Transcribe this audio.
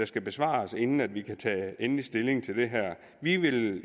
skal besvares inden vi kan tage endelig stilling til det her vi vil